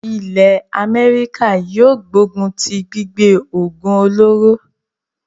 ilẹ́ Améríkà yóò gbógun tí gbígbé òògùn olóró.